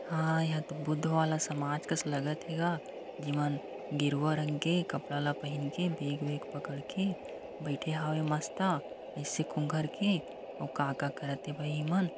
हा एहा तो बुद्ध वाला समाज कस लगत हे गा जेमन गेरुआ रंग के कपड़ा ला पहिन के बेग-वेग पकड़ के बइठे हावय मस्त अइसे कोंघड़के अउ का का करत हे भई ए मन।